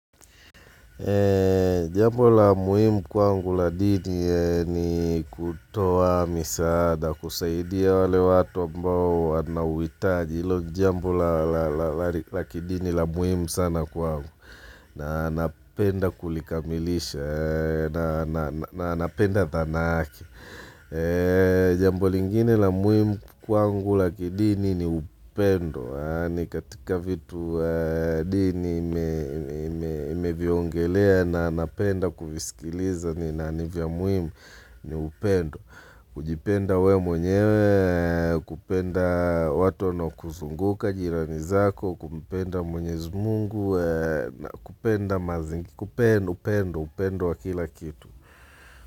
Jambo la muhimu kwangu la dini ni kutoa misaada kusaidia wale watu ambao wanauhitaji Jambo la kidini la muhimu sana kwangu na napenda kulikamilisha na napenda thana yake Jambo lingine la muhimu kwangu la kidini ni upendo ni katika vitu di ni imeviongelea na napenda kuvisikiliza nani vya muhimu ni upendo. Kujipenda wewe mwenyewe, kupenda watu wanaokuzunguka jirani zako, kumpenda mwenyezi mungu, kupenda mazingi, kupenda, upendo, upendo wa kila kitu.